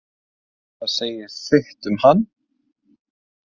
Það segir sitt um hann.